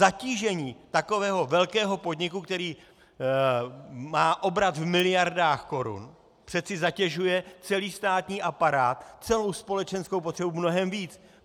Zatížení takového velkého podniku, který má obrat v miliardách korun, přece zatěžuje celý státní aparát, celou společenskou potřebu mnohem víc.